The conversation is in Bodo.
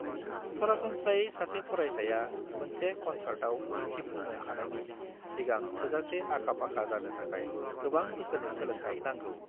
सरासनस्रायै सासे फरायसाया मोनसे कन्सार्टाव दिन्थफुंनो हानायनि सिगां थोजासे आखा-फाखा जानो थाखाय गोबां बोसोरनि सोलोंनाय नांगौ।